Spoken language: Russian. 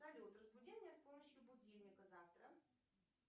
салют разбуди меня с помощью будильника завтра